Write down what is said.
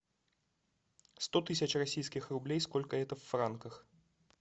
сто тысяч российских рублей сколько это в франках